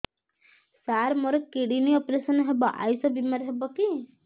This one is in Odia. ସାର ମୋର କିଡ଼ନୀ ଅପେରସନ ହେବ ଆୟୁଷ ବିମାରେ ହେବ କି